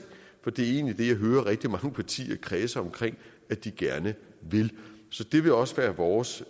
for det er egentlig det jeg hører rigtig mange partier kredse omkring at de gerne vil så det vil også være vores